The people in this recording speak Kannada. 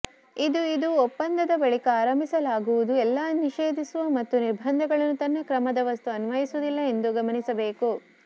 ಇದು ಇದು ಒಪ್ಪಂದದ ಬಳಿಕ ಆರಂಭಿಸಲಾಗುವುದು ಎಲ್ಲಾ ನಿಷೇಧಿಸುವ ಮತ್ತು ನಿರ್ಬಂಧಗಳನ್ನು ತನ್ನ ಕ್ರಮದ ವಸ್ತು ಅನ್ವಯಿಸುವುದಿಲ್ಲ ಎಂದು ಗಮನಿಸಬೇಕು